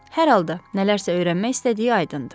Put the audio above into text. Hər halda, nələrsə öyrənmək istədiyi aydındır.